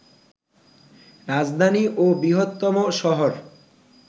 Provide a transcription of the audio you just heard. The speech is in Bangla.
রাজধানী ও বৃহত্তম শহর